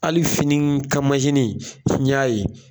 Hali fini kan n ɲ'a ye